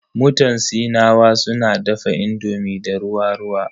Mutan Sinawa suna dafa indomi da ruwa ruwa.